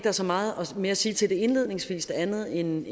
er så meget mere at sige til det indledningsvis andet end